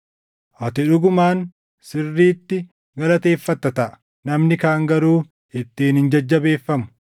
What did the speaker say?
Ati dhugumaan sirriitti galateeffata taʼa; namni kaan garuu ittiin hin jajjabeeffamu.